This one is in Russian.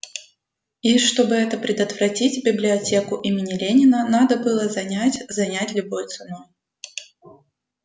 и чтобы это предотвратить библиотеку имени ленина надо было занять занять любой ценой